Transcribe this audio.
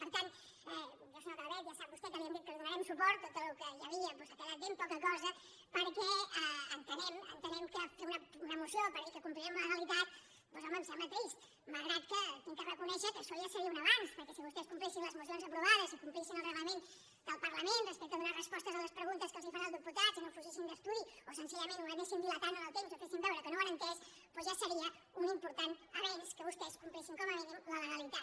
per tant jo senyora calvet ja sap vostè que li hem dit que li donarem suport de tot el que hi havia doncs ha quedat ben poca cosa perquè entenem que fer una moció per dir que complirem la legalitat home em sembla trist malgrat que he de reconèixer que això ja seria un avenç perquè si vostès complissin les mocions aprovades i complissin el reglament del parlament respecte a donar respostes a les preguntes que els fan els diputats i no fugissin d’estudi o senzillament ho anessin dilatant en el temps o fessin veure que no ho han entès doncs ja seria un important avenç que vostès complissin com a mínim la legalitat